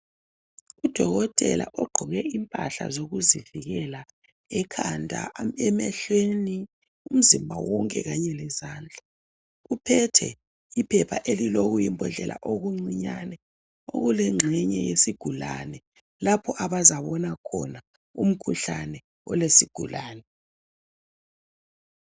Udokotela ogqoke impahla zokuzivikela. Ekhanda, emehlweni, umzimba wonke! Kanye lezandla. Uphethe iphepha elilokuyimbodlela okuncinyane. Elilengxenye yesigulane. Lapho abazabona khona umkhuhlane olesigulane.